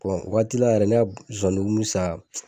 Bɔn waatila yɛrɛ ne ka zonzani kun bi sa